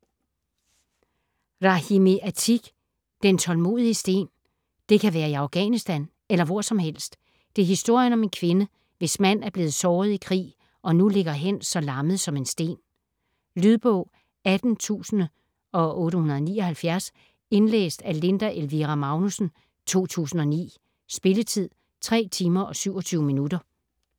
Rahimi, Atiq: Den tålmodige sten Det kan være i Afghanistan eller hvor som helst. Det er historien om en kvinde, hvis mand er blevet såret i krig og nu ligger hen så lammet som en sten. Lydbog 18879 Indlæst af Linda Elvira Magnussen, 2009. Spilletid: 3 timer, 27 minutter.